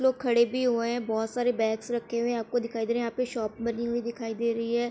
लोग खड़े भी हुए है बहोत सारे बैग्स रखे हुए है आपको दिखाई दे रहे है यहा पे शॉप बनी हुई दिखाई दे रही है।